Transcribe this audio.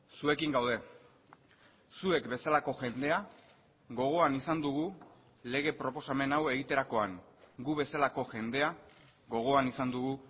zuekin gaude zuek bezalako jendea gogoan izan dugu lege proposamen hau egiterakoan gu bezalako jendea gogoan izan dugu